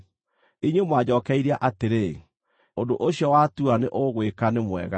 Inyuĩ mwanjookeirie atĩrĩ, “Ũndũ ũcio watua nĩ ũgwĩka nĩ mwega.”